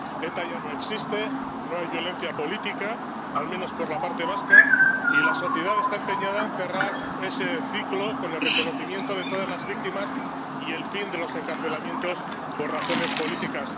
ETA ya no existe, no hay violencia política ⸻al menos por la parte vasca⸻ y la sociedad está empeñada en cerrar ese ciclo con el reconocimiento de todas las víctimas y el fin de los encarcelamientos por razones políticas.